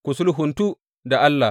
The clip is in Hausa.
Ku sulhuntu da Allah.